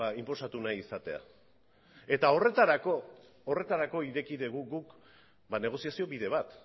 inposatu nahi izatea eta horretarako ireki dugu guk negoziazio bide bat